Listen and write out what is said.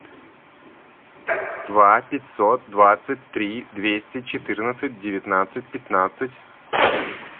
два пятьсот двадцать три двести четырнадцать девятнадцать пятнадцать